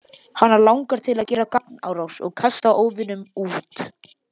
Hana langar til að gera gagnárás og kasta óvininum út.